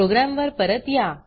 programme वर परत या